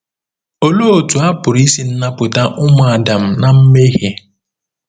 Olee otú a pụrụ isi napụta ụmụ Adam ná mmehie?